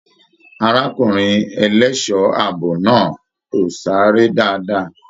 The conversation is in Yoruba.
Arákùnrin ẹlẹṣọ ààbò náà o sáré dáadáa.